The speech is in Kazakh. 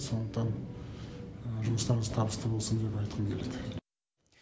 сондықтан жұмыстарыңыз табысты болсын деп айтқым келеді